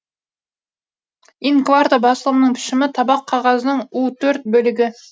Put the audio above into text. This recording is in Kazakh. ин кварто басылымның пішімі табақ қағаздың у төрт бөлігі